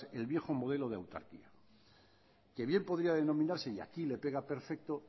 el viejo modelo de autarquía que bien podría denominarse y aquí le pega perfecto